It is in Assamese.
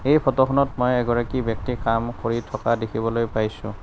এই ফটোখনত মই এগৰাকী ব্যক্তি কাম কৰি থকা দেখিবলৈ পাইছোঁ।